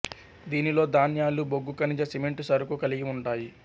దీనిలో ధాన్యాలు బొగ్గు ఖనిజ సిమెంట్ సరుకు కలిగి ఉంటాయి